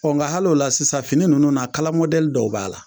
Ɔ nka hali la sisan fini ninnu na kala dɔw b'a la